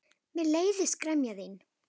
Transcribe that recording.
Mér leiðist gremja þín.